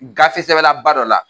Gafe sɛbɛnnaba dɔ la